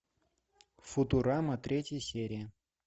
футурама третья серия